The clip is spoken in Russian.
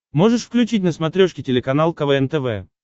можешь включить на смотрешке телеканал квн тв